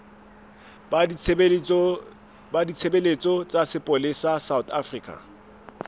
ba ditshebeletso tsa sepolesa sa